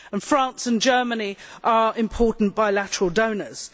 France and Germany are important bilateral donors.